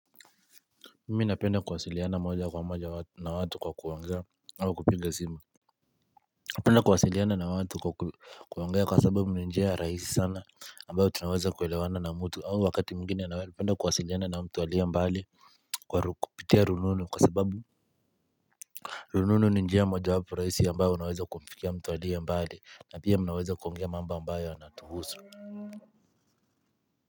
Mimi napenda kuwasiliana moja kwa moja na watu kwa kuangea hawa kupinga sima penda kuwasiliana na watu kwa kuangea kwa sababu ni njia rahisi sana ambayo tunaweza kuelewana na mtu wakati mwingine nawe penda kuwasiliana na mtu aliye mbali kwa kupitia rununu kwa sababu rununu ni njia moja wapo rahisi ambayo unaweza kumfikia mtu aliye mbali na pia mnaweza kuongea mamba ambayo anatuhusu.